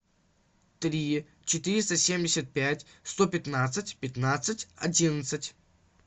три четыреста семьдесят пять сто пятнадцать пятнадцать одиннадцать